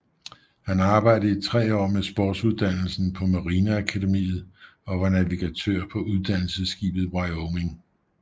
Han arbejdede i tre år med sportsuddannelsen på marineakademiet og var navigatør på uddannelsesskibet Wyoming